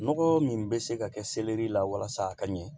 Nɔgɔ min bɛ se ka kɛ selɛri la walasa a ka ɲɛ